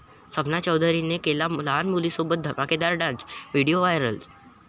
सपना चौधरीने केला लहान मुलीसोबत धमाकेदार डान्स, व्हिडीओ व्हायरल